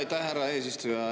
Jaa, aitäh, härra eesistuja!